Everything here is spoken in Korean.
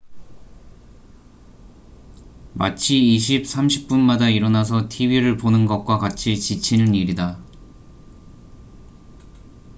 마치 20 - 30분 마다 일어나서 tv를 보는 것과 같이 지치는 일이다